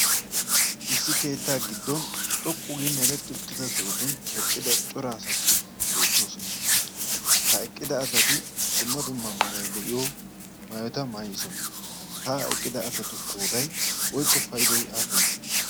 issi keettaa giddon xoqqu gii meretti utteda sootun eqqida cora asati beettoosona ha eqqida asati dumma dumma meerai de'iyo maayota maayisona ha eqqida asatu qoodai woikko paydoy aapunee?